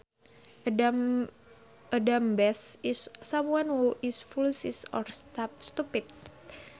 A dumbass is someone who is foolish or stupid